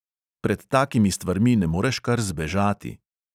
Pred takimi stvarmi ne moreš kar zbežati.